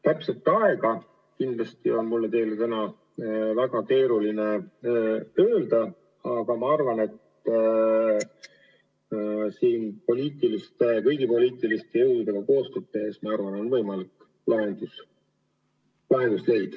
Täpset aega on mul täna teile väga keeruline öelda, aga ma arvan, et kõigi poliitiliste jõududega koostööd tehes on võimalik lahendus leida.